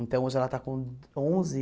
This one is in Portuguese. Então, hoje ela está com onze.